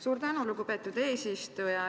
Suur tänu, lugupeetud eesistuja!